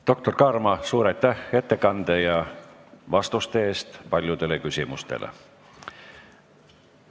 Doktor Kaarma, suur aitäh ettekande eest ja vastuste eest paljudele küsimustele!